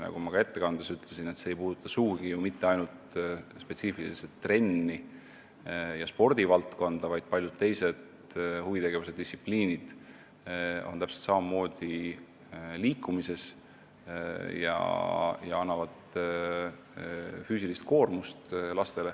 Nagu ma ka ettekandes ütlesin, see ei puuduta sugugi mitte ainult spetsiifiliselt trenne ja spordivaldkonda, paljud teised huvitegevuse distsipliinid on täpselt samamoodi liikumisega seotud ja annavad lastele füüsilist koormust.